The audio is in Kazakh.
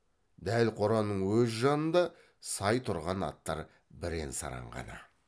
дәл қораның өз жанында сай тұрған аттар бірен саран ғана